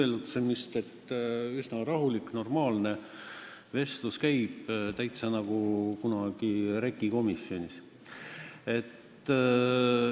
Käib üsna rahulik, normaalne vestlus, täitsa nagu kunagi REKK-is.